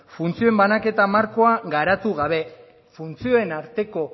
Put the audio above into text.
funtzioen banaketa markoa garatu gabe funtzioen arteko